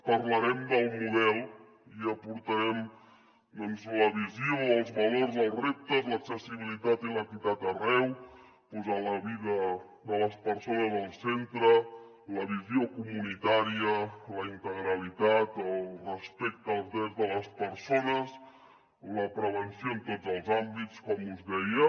parlarem del model i aportarem doncs la visió els valors els reptes l’accessibilitat i l’equitat arreu posar la vida de les persones al centre la visió comunitària la integralitat el respecte els drets de les persones la prevenció en tots els àmbits com us deia